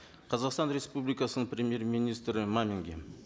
қазақстан республикасының премьер министрі маминге